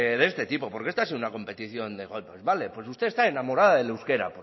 de este tipo porque esta ha sido una competición de golpes vale pues usted está enamorada del euskera